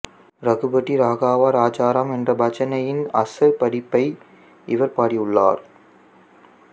ரகுபதி ராகவா ராஜாராம் என்ற பஜனையின் அசல் பதிப்பை இவர் பாடியுள்ளார்